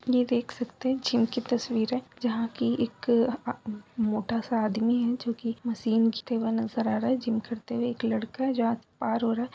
ये देख सकते हैं जिम की तस्वीर है जहां की एक आ मोटा-सा आदमी है जो की मशीन इस्तेमाल करते हुए नजर आ रहा है| जिम करते हुए एक लड़का है जहां पार हो रहा है |